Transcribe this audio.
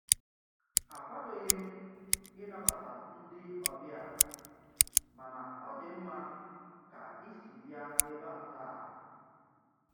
Akwadoghị m ịnabata ndị ọbịa, mana ọ dị mma ka isi bịa ebe a taa.